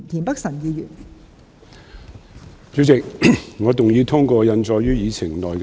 代理主席，我動議通過印載於議程內的議案。